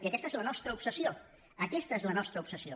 i aquesta és la nostra obsessió aquesta és la nostra obsessió